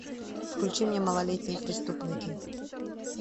включи мне малолетние преступники